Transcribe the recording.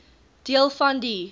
deel van die